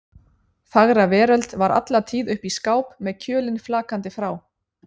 Fagra veröld var alla tíð uppi í skáp með kjölinn flakandi frá